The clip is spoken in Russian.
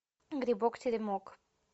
грибок теремок